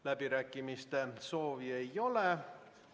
Läbirääkimiste pidamise soovi ei ole.